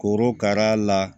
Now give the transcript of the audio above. Korokara la